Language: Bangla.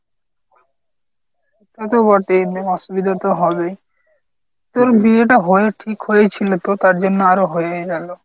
তা তো বটেই অসুবিধা তো হবেই। তোর বিয়েটা হয়ে ঠিক হয়েই ছিল তো তারজন্য আরো হয়েই গেল।